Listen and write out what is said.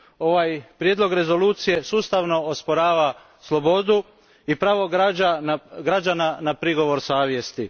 Ovaj prijedlog rezolucije sustavno osporava slobodu i pravo građana na prigovor savjesti.